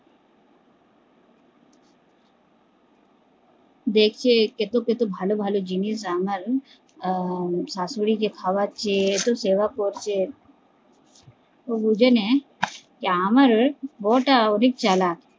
দেখে কত কত ভালো ভালো জিনিস রান্না আহ শাশুড়ি কে খাওয়াচ্ছে কত সেবা করছে, ও বুঝে নেয় আমার বৌ টা অধিক চালাক